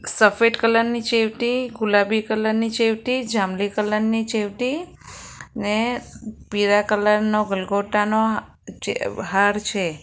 સફેદ કલર ની ચેવટી ગુલાબી કલર ની ચેવટી જાંબલી કલર ની ચેવટી ને પીરા કલર નો ગલગોટાનો ચે હાર છે.